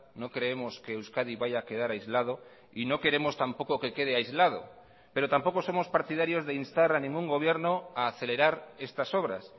no creemos que euskadi vaya a quedar aislado y no queremos tampoco que quede aislado pero tampoco somos partidarios de instar a ningún gobierno a acelerar estas obras